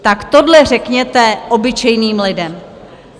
Tak tohle řekněte obyčejným lidem.